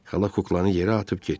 Xala kuklanı yerə atıb getdi.